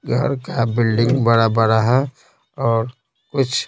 घर का बिल्डिंग -बड़ा है और कुछ--